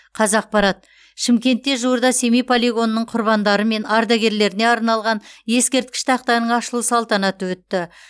қазақпарат шымкентте жуырда семей полигонының құрбандары мен ардагерлеріне арналған ескерткіш тақтаның ашылу салтанаты өтті